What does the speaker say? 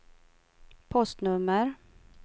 postnummer